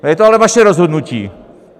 Je to ale vaše rozhodnutí!